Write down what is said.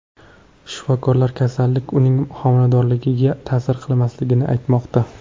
Shifokorlar kasallik uning homiladorligiga ta’sir qilmasligini aytmoqda.